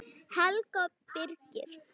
Helga og Birgir.